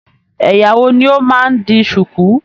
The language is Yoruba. Ẹyà wo ni o máa n di sùkú?